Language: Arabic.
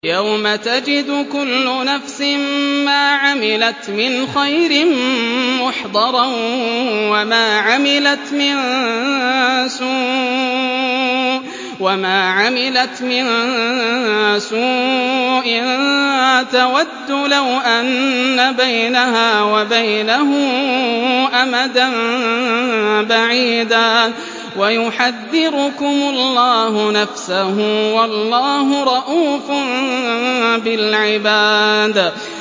يَوْمَ تَجِدُ كُلُّ نَفْسٍ مَّا عَمِلَتْ مِنْ خَيْرٍ مُّحْضَرًا وَمَا عَمِلَتْ مِن سُوءٍ تَوَدُّ لَوْ أَنَّ بَيْنَهَا وَبَيْنَهُ أَمَدًا بَعِيدًا ۗ وَيُحَذِّرُكُمُ اللَّهُ نَفْسَهُ ۗ وَاللَّهُ رَءُوفٌ بِالْعِبَادِ